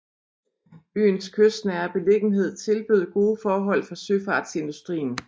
Byens kystnære beliggenhed tilbød gode forhold for søfartsindustrien